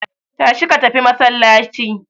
Tashi ka tafi masallaci.